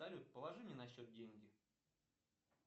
салют положи мне на счет деньги